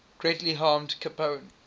greatly harmed capone